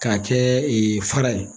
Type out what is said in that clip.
K'a kɛ ee fara ye